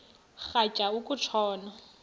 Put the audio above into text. rhatya uku tshona